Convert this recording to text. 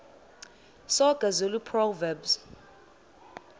soga zulu proverbs